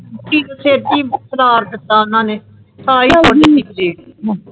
ਠ੍ਕ ਛਾਤੀ ਪਦਾਰ ਦਿੱਤੋ ਉੰਨੇ ਥਾਇ